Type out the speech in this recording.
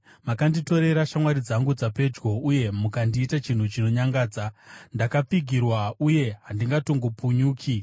Makanditorera shamwari dzangu dzapedyo, uye mukandiita chinhu chinonyangadza. Ndakapfigirwa uye handingatongopunyuki;